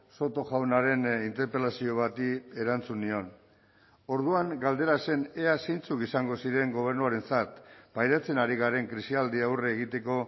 soto jaunaren interpelazio bati erantzun nion orduan galdera zen ea zeintzuk izango ziren gobernuarentzat pairatzen ari garen krisialdi aurre egiteko